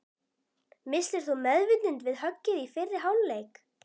Misstir þú meðvitund við höggið í fyrri hálfleik?